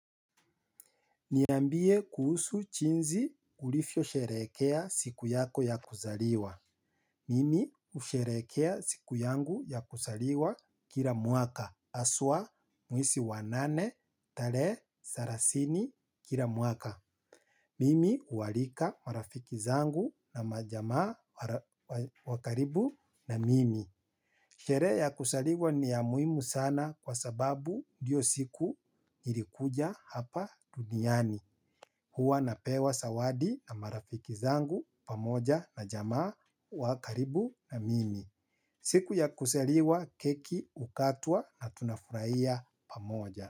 Niambie kuhusu jinzi ulifyoo sherekea siku yako ya kuzaliwa. Mimi husherekea siku yangu ya kusaliwa kila mwaka. Haswa mwesi wa nane talehe selasini kila mwaka. Mimi huwalika marafiki zangu na majamaa wakaribu na mimi. Sherehe ya kusaliwa ni ya muhimu sana kwa sababu ndiyo siku ilikuja hapa duniani. Huwa napewa sawadi na marafiki zangu pamoja na jamaa wakaribu na mimi. Siku ya kusaliwa keki hukatwa na tunafurahiya pamoja.